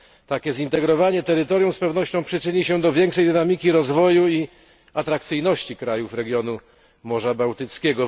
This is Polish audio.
Takie zintegrowanie terytorium z pewnością przyczyni się do większej dynamiki rozwoju i atrakcyjności krajów regionu Morza Bałtyckiego.